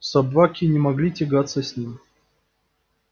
собаки не могли тягаться с ним